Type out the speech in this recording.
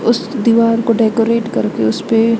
उस दीवार को डेकोरेट करके उसपे--